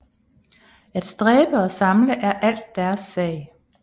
At stræbe og samle er alt deres sag